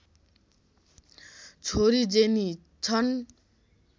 छोरी जेनी छन्